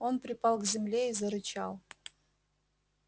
он припал к земле и зарычал